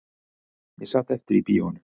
Ég sat eftir í bíóinu